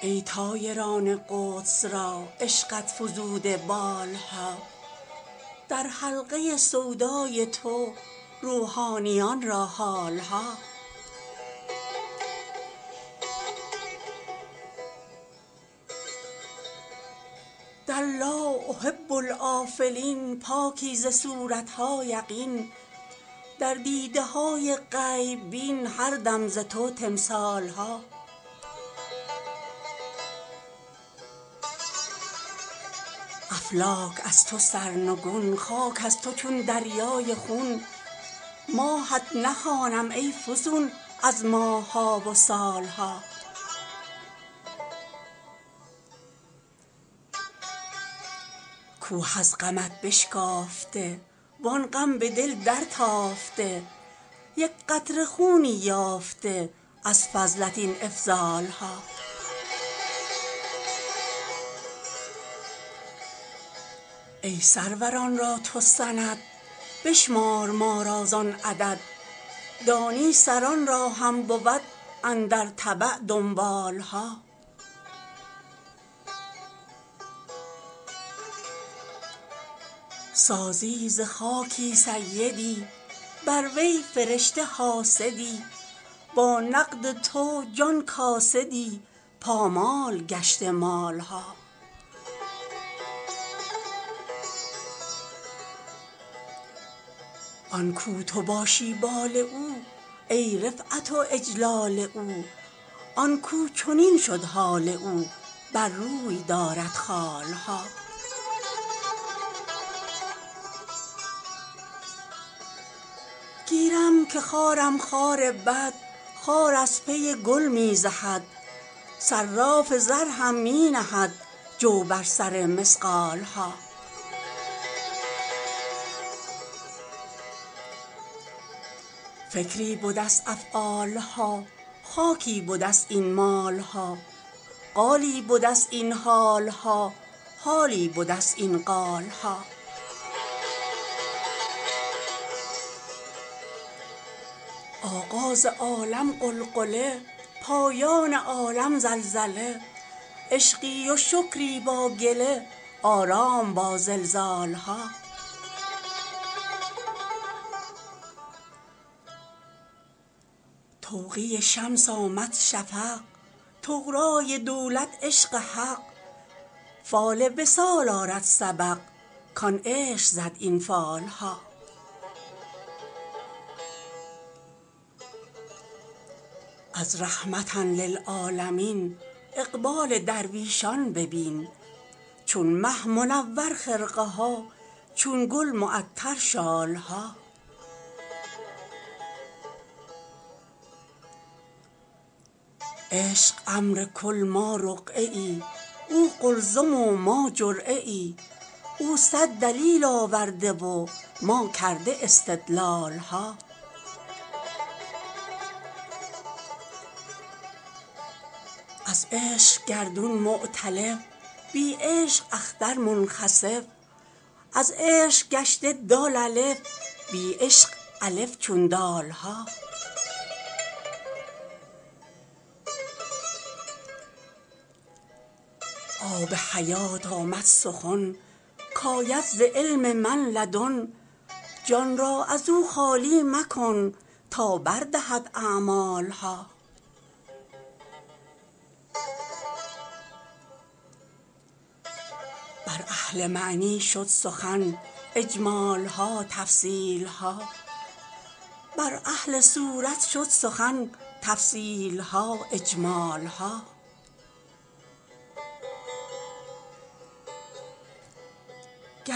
ای طایران قدس را عشقت فزوده بال ها در حلقه سودای تو روحانیان را حال ها در لا احب الآفلین پاکی ز صورت ها یقین در دیده های غیب بین هر دم ز تو تمثال ها افلاک از تو سرنگون خاک از تو چون دریای خون ماهت نخوانم ای فزون از ماه ها و سال ها کوه از غمت بشکافته وان غم به دل درتافته یک قطره خونی یافته از فضلت این افضال ها ای سروران را تو سند بشمار ما را زان عدد دانی سران را هم بود اندر تبع دنبال ها سازی ز خاکی سیدی بر وی فرشته حاسدی با نقد تو جان کاسدی پامال گشته مال ها آن کاو تو باشی بال او ای رفعت و اجلال او آن کاو چنین شد حال او بر روی دارد خال ها گیرم که خارم خار بد خار از پی گل می زهد صراف زر هم می نهد جو بر سر مثقال ها فکری بده ست افعال ها خاکی بده ست این مال ها قالی بده ست این حال ها حالی بده ست این قال ها آغاز عالم غلغله پایان عالم زلزله عشقی و شکری با گله آرام با زلزال ها توقیع شمس آمد شفق طغرای دولت عشق حق فال وصال آرد سبق کان عشق زد این فال ها از رحمة للعالمین اقبال درویشان ببین چون مه منور خرقه ها چون گل معطر شال ها عشق امر کل ما رقعه ای او قلزم و ما جرعه ای او صد دلیل آورده و ما کرده استدلال ها از عشق گردون مؤتلف بی عشق اختر منخسف از عشق گشته دال الف بی عشق الف چون دال ها آب حیات آمد سخن کاید ز علم من لدن جان را از او خالی مکن تا بر دهد اعمال ها بر اهل معنی شد سخن اجمال ها تفصیل ها بر اهل صورت شد سخن تفصیل ها اجمال ها